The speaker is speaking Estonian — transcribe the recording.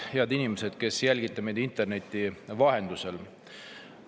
Head inimesed, kes te jälgite meid interneti vahendusel!